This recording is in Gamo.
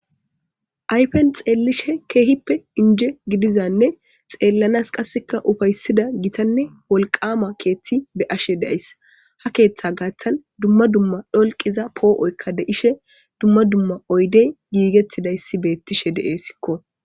Ayippen xellishin kehippe inje giddizanne xellanas qaseka uppayisida kehippe gittanne wolqqama keththi be'ashe dayisi ha keththa gaththan duma duma dholqqiza po'oyika de'ishe duma duma oyiddeyka gigetidayisi bettishe de'esiko.